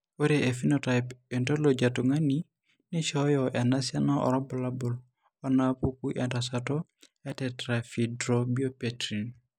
Ore ephenotype ontology etung'ani neishooyo enasiana oorbulabul onaapuku entasato eTetrahydrobiopterin.